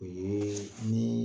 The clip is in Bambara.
O yee nii